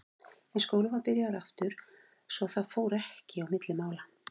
En skólinn var byrjaður aftur svo að það fór ekki á milli mála.